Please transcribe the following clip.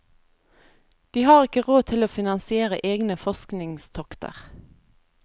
De har ikke råd til å finansiere egne forskningstokter.